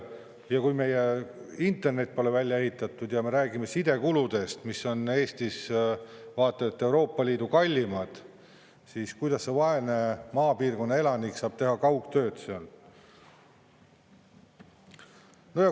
Ja kui meie internet pole välja ehitatud ja kui me räägime sidekuludest, mis on Eestis vaata et Euroopa Liidu kalleimad, siis kuidas see vaene maapiirkonna elanik saab teha kaugtööd?